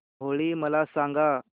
होळी मला सांगा